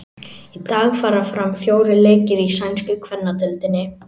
Í dag fara fram fjórir leikir í sænsku kvennadeildinni.